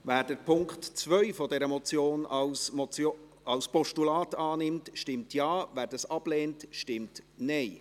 Wer die Ziffer 2 dieser Motion als Postulat annimmt, stimmt Ja, wer dies ablehnt, stimmt Nein.